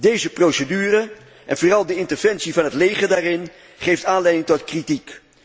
Deze procedure, en vooral de interventie van het leger, geeft aanleiding tot kritiek.